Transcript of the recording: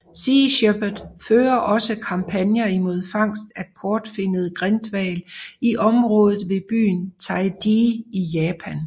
Sea Shepherd fører også kampagner imod fangst af kortfinnet grindhval i området ved byen Taiji i Japan